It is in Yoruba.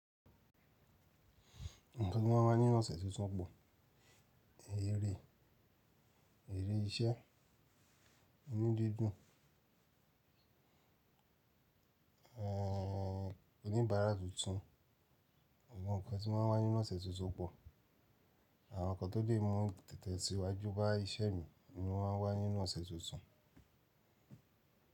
Àwọn nǹkan tí mo máa ń wá nínú ọ̀sẹ̀ tuntun pọ̀. Eré, eré iṣẹ́, inu dundun ẹ́, oníbàárà tuntun. Àwọn nǹkan tí wọ́n má ń wá nínú ọ̀sẹ̀ tuntun pọ̀. Àwọn nǹkan tó lè mú tẹ̀tẹ̀ síwájú bá iṣẹ́ mi ni mo máa ń wá nínú ọ̀sẹ̀ tuntun.